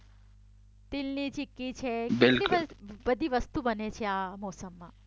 તિલની ચીક્કી છે કેટલી બધી વસ્તુ બને છે આ મોસમમાં